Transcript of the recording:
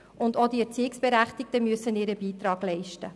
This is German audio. Auch die Erziehungsberechtigten müssen ihren Beitrag leisten.